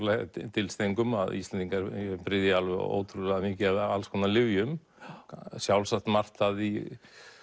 dylst engum að Íslendingar bryðja ótrúlega mikið af alls konar lyfjum sjálfsagt margt af því